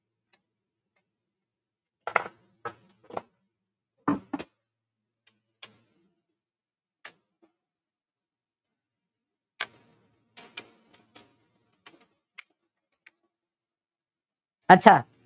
અચ્છા